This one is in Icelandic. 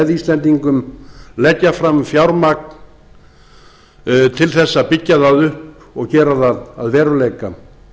íslendingum leggja fram fjármagn til þess að byggja það upp og gera það að veruleika